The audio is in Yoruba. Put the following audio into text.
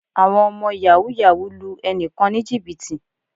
Àwọn ọmọ Yàhooyahoo lu ènìyàn kan ní Jìbìtì